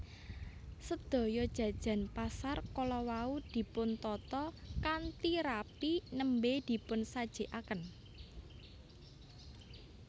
Sedaya jajan pasar kala wau dipuntata kanthi rapi nembè dipunsajikaken